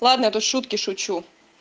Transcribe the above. ладно я-то шутки шучу